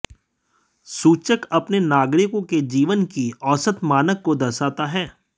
सूचक अपने नागरिकों के जीवन की औसत मानक को दर्शाता है